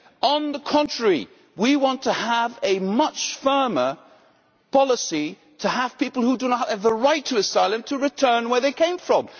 On the contrary, we want to have a much firmer policy so that people who do not have the right to asylum must return where they came from.